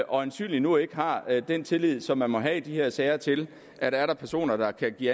øjensynligt nu ikke har den tillid som man må have i de her sager til at er der personer der kan give